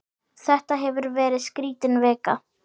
Þetta hefur verið skrítin vika.